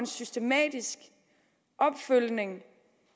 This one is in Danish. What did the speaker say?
systematisk opfølgning